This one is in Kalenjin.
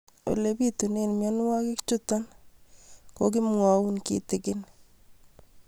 Ole pitune mionwek chutok ko kimwau kitig'ín